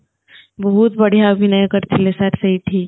ବହୁତ ବଢ଼ିଆ ଅଭିନୟ କରିଥିଲେ sir ସେଇଠି